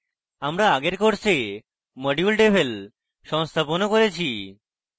আমরা আগে course module devel সংস্থাপনও করেছি